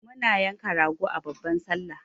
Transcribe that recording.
muna yanka rago a babban sallah